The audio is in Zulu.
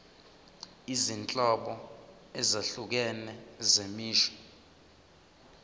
izinhlobo ezahlukene zemisho